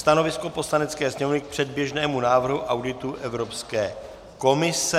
Stanovisko Poslanecké sněmovny k předběžnému návrhu auditu Evropské komise.